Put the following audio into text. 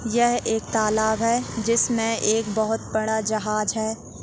यह एक तालाब है जिस में एक बहुत बड़ा जहाज है।